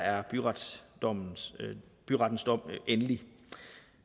er byrettens dom byrettens dom endelig